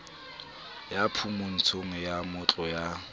ya phumantsho ya matlo ya